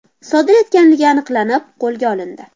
sodir etganligi aniqlanib, qo‘lga olindi.